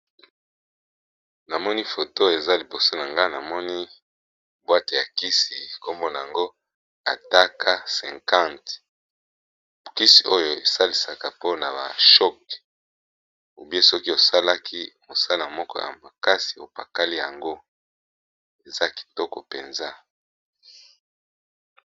Namoni photo eza liboso na nga, namoni bwate ya kisi nkombona yango ataka 50 kisi oyo esalisaka mpona ,ba shoc soki osalaki mosala moko ya makasi opakali yango eza kitoko mpenza.